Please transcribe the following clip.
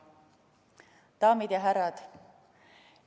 Daamid ja härrad!